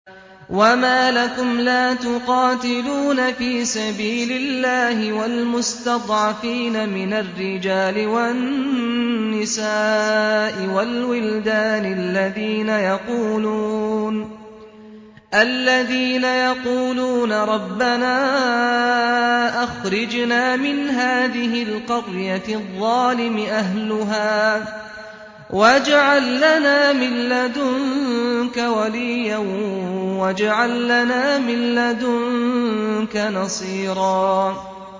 وَمَا لَكُمْ لَا تُقَاتِلُونَ فِي سَبِيلِ اللَّهِ وَالْمُسْتَضْعَفِينَ مِنَ الرِّجَالِ وَالنِّسَاءِ وَالْوِلْدَانِ الَّذِينَ يَقُولُونَ رَبَّنَا أَخْرِجْنَا مِنْ هَٰذِهِ الْقَرْيَةِ الظَّالِمِ أَهْلُهَا وَاجْعَل لَّنَا مِن لَّدُنكَ وَلِيًّا وَاجْعَل لَّنَا مِن لَّدُنكَ نَصِيرًا